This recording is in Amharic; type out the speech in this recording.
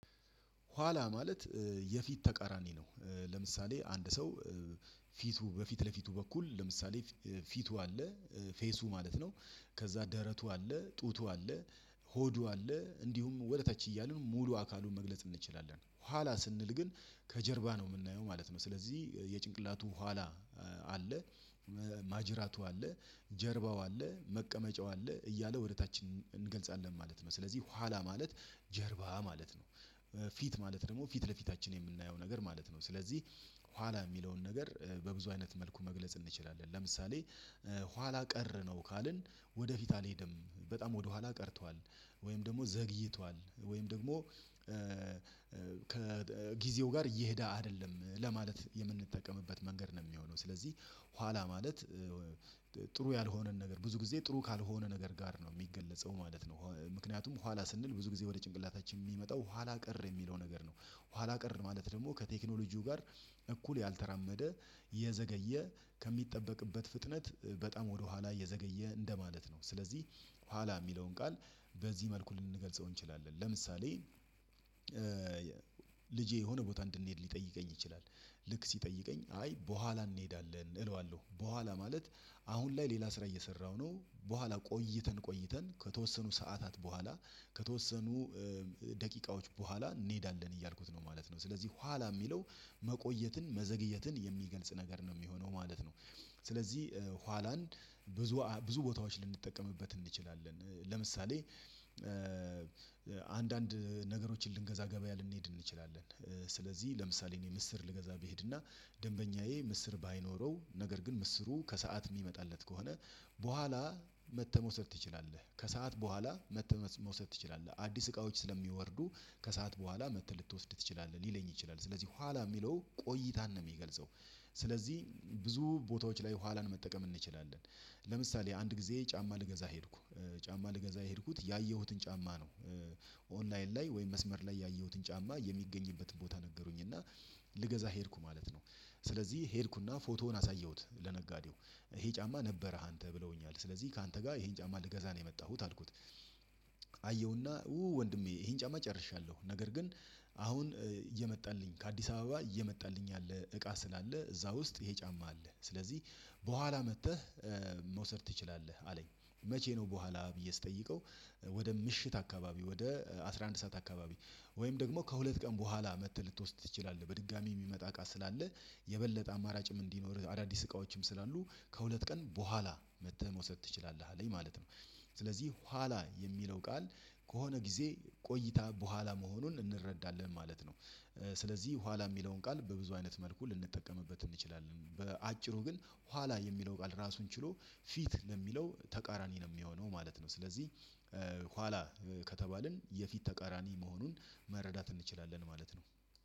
ኋላ ማለት የፊት ተቃራኒ ነው። ለምሳሌ አንድ ሰው ፊቱ በፊት ለፊቱ በኩል ለምሳሌ ፊቱ አለ ፌሱ ማለት ነው። ከዛ ደረቱ አለ ጡቱ አለ። ሆዱ አለ እንዲሁም ወደ ተች እያሉ ነው ሙሉ አካሉን መግለጽ እንችላለን ኋላ ስንል ግን ከጀርባ ነው የምናየው ማለት ነው። ስለዚህ የጭንቅላቱ ኋላ አለ ማጅራቱ አለ ጀርባው አለ መቀመጫው አለ እያለ ወደ ታች እንገልጻለን ማለት ነው። ስለዚህ ኋላ ማለት ጀርባ ማለት ነው። ፊት ማለት ደግሞ ፊት ለፊታችን እምናየው ነገር ማለት ነው። ስለዚህ ኋላ እሚለውን ነገር በብዙ አይነት መልኩ መግለጽ እንችላለን። ለምሳሌ ኋላ ቀር ነው ካልን ወደፊት አልሄድም በጣም ወደኋላ ቀርቷል። ወይም ደግሞ ዘግይቷል ወይም ደግሞ ከጊዜው ጋር እየሄደ አይደለም ለማለት የምንጠቀምበት መንገድ ነው የሚሆነው። ስለዚህ ኋላ ማለት ጥሩ ያልሆነን ነገር ብዙ ጊዜ ጥሩ ካልሆነ ነገር ጋር ነው ሚገለጸው ማለት ነው። ምክንያቱም ኋላ ስንል ብዙ ጊዜ ወደ ጭንቅላታችን ሚመጣው ኋላ ቀር የሚለው ነገር ነው። ኋላ ቀር ማለት ደግሞ ከቴክኖሎጂው ጋር እኩል ያልተራመደ የዘገየ ከሚጠበቅበት ፍጥነት በጣም ወደኋላ የዘገየ እንደማለት ነው። ስለዚህ ኋላ ሚለውን ቃል በዚህ መልኩ ልንገልጸው እንችላለን። ለምሳሌ ልጄ የሆነ ቦታ እንድንሄድ ሊጠይቀኝ ይችላል። ልክ ሲጠይቀኝ አይ በኋላ እንሄዳለን እለዋለሁ በኋላ ማለት አሁን ላይ ሌላ ስራ እየሰራሁ ነው። በኋላ ቆይተን ቆይተን ከተወሰኑ ሰዓታት በኋላ ከተወሰኑ በኋላ እንሄዳለን እያልኩት ነው ማለት ነው። ስለዚህ ኋላ ሚለው መቆየትን መዘግየትን የሚገልጽ ነገር ነው ሚሆነው ማለት ነው። ስለዚህ ኋላን ብዙ ብዙ ቦታዎች ልንጠቀምበት እንችላለን። ለምሳሌ አንዳንድ ነገሮችን ልንገዛ ገበያ ልንሄድ እንችላለን። ስለዚህ ለምሳሌ እኔ ምስር ልገዛ ብሄድና ደንበኛዬ ምስር ባይኖረው ነገር ግን ምስሩ ከሰአት ሚመጣለት ከሆነ በኋላ መተመውሰድ ትችላለህ ከሰአት በኋላ መተመውሰድ መውሰድ ትችላለህ። አዲስ እቃዎች ስለሚወርዱ ከሰአት በኋላ መተህ ልትወስድ ትችላለህ ሊለኝ ይችላል። ስለዚህ ኋላ ሚለው ቆይታን ነው ሚገልጸው። ስለዚህ ብዙ ቦታዎች ላይ ኋላን መጠቀም እንችላለን። ለምሳሌ አንድ ጊዜ ጫማ ልገዛ ሄድኩ ጫማ ልገዛ ሄድኩት ያየሁትን ጫማ ነው። ኦንላይን ላይ ወይም መስመር ላይ ያየሁትን ጫማ የሚገኝበትን ቦታ ነገሩኝ እና ልገዛ ሄድኩ ማለት ነው። ስለዚህ ሄድኩና ፎቶውን አሳየሁት ለነጋዴው ይሄ ጫማ ነበርህ አንተ ብለውኛል ስለዚህ ካንተ ጋር ይሄን ጫማ ልገዛ ነው የመጣሁት አልኩት። አየሁና ወንድሜ ይሄን ጫማ ጨርሻለሁ ነገር ግን አሁን እየመጣልኝ ከአዲስ አበባ እየመጣልኝ አለ እቃ ስላለ እዛ ውስጥ ይሄ ጫማ አለ ስለዚህ በኋላ መጥተህ መውሰድ ትችላለህ አለኝ። መቼ ነው በኋላ ብዬ ስጠይቀው? ወደ ምሽት አካባቢ ወደ አስራ አንድ ሰዓት አካባቢ ወይም ደግሞ ከሁለት ቀን በኋላ መተህ ልትወስድ ትችላለህ። በድጋሚ ሚመጣ እቃ ስላለ አማራጭም እንዲኖርህ አዳዲስ እቃዎችም ስላሉ ከሁለት ቀን በኋላ መጥተህ መውሰድ ትችላለህ አለኝ ማለት ነው። ስለዚህ ኋላ የሚለው ቃል ከሆነ ጊዜ ቆይታ በኋላ መሆኑን እንረዳለን ማለት ነው። ስለዚህ ኋላ ሚለውን ቃል በብዙ አይነት መልኩ ልንጠቀምበት እንችላለን። በአጭሩ ግን ኋላ የሚለው ቃል ራሱን ችሎ ፊት ለሚለው ተቃራኒ ነው ሚሆነው ማለት ነው። ስለዚህ ኋላ ከተባልን የፊት ተቃራኒ መሆኑን መረዳት እንችላለን ማለት ነው።